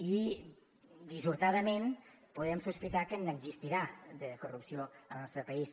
i dissortadament podem sospitar que n’existirà de corrupció al nostre país